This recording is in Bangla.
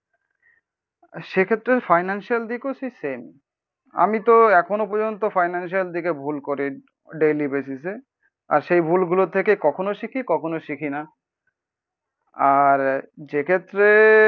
সেক্ষেত্রে ফাইনান্সিয়াল দিকও সেই সেম। আমিতো এখনো পর্যন্ত ফাইনান্সিয়াল দিকে ভুল করি ডেইলি বেসিসে। আর সেই ভুলগুলো থেকে কখনো শিখি কখনো শিখিনা আর যেক্ষেত্রে